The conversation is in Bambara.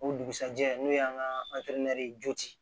O dugusɛjɛ n'o y'an ka